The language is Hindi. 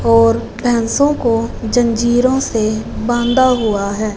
और भैंसों को जंजीरों से बांधा हुआ है।